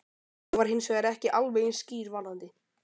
Ég var hins vegar ekki alveg eins skýr varðandi